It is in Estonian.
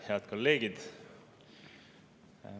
Head kolleegid!